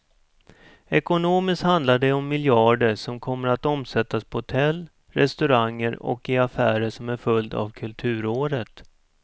Ekonomiskt handlar det om miljarder som kommer att omsättas på hotell, restauranger och i affärer som en följd av kulturåret.